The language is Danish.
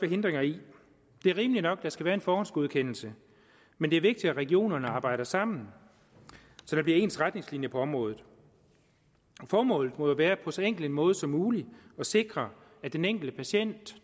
hindringer i det er rimeligt nok at der skal være en forhåndsgodkendelse men det er vigtigt at regionerne arbejder sammen så der bliver ens retningslinjer på området formålet må jo være på så enkel en måde som muligt at sikre at den enkelte patient